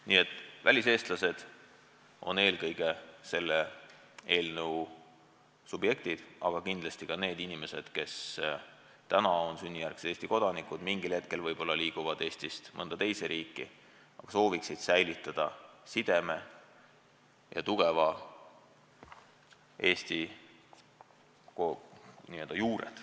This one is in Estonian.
Nii et väliseestlased on eelkõige selle eelnõu subjektid, aga kindlasti ka need inimesed, kes praegu on sünnijärgsed Eesti kodanikud, mingil hetkel võib-olla kolivad Eestist mõnda teise riiki, aga sooviksid säilitada sideme kodumaaga ja tugevad Eesti juured.